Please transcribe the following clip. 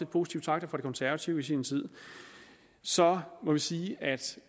positive takter fra det konservative folkeparti i sin tid så må vi sige at